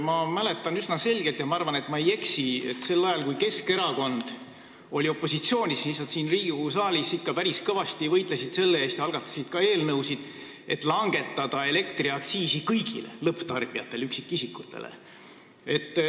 Ma mäletan üsna selgelt – ma arvan, et ma ei eksi –, et sel ajal, kui Keskerakond oli opositsioonis, nad siin Riigikogu saalis ikka päris kõvasti võitlesid selle eest ja algatasid ka eelnõusid selleks, et langetada kõigi lõpptarbijate, üksikisikute makstavat elektriaktsiisi.